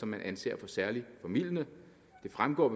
man anser for særlig formildende det fremgår af